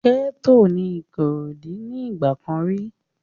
Gẹ́ẹ́tò ní Ìkòròdú ní ìgbà kan rí